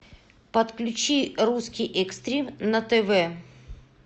подключи русский экстрим на тв